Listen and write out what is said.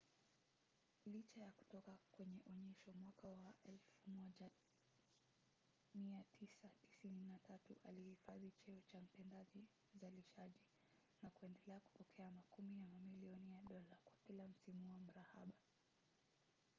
licha ya kutoka kwenye onyesho mwaka wa 1993 alihifadhi cheo cha mtendaji mzalishaji na kuendelea kupokea makumi ya mamilioni ya dola kwa kila msimu wa mrahaba